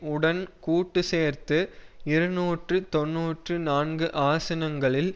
உடன் கூட்டு சேர்ந்து இருநூற்று தொன்னூற்று நான்கு ஆசனங்களில்